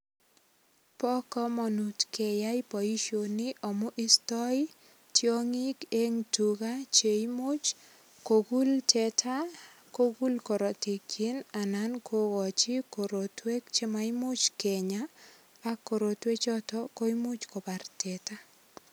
Bo kamanut keyai boisionik amun istoi tiongik che imuch kogul teta kogul korotikyik anan kokochi korotwek chemaimuch kenya ak korotwechuto komuch kobar teta.